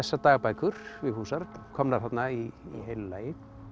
dagbækur Vigfúsar komnar þarna í heilu lagi